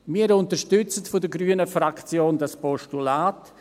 Wir von der Fraktion Grüne unterstützen dieses Postulat.